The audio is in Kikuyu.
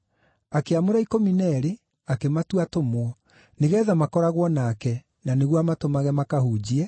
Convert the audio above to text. Akĩamũra ikũmi na eerĩ, akĩmatua atũmwo, nĩgeetha makoragwo nake, na nĩguo amatũmage makahunjie,